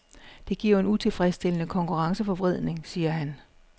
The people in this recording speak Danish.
Det giver en utilfredsstillende konkurrenceforvridning, siger han.